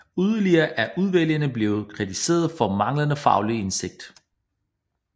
Yderligere er udvalgene blevet kritiseret for manglende faglig indsigt